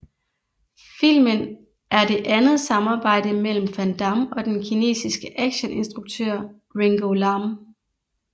Filmen er det andet samarbejde mellem Van Damme og den kinesiske actioninstruktør Ringo Lam